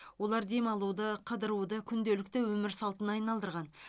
олар демалуды қыдыруды күнделікті өмір салтына айналдырған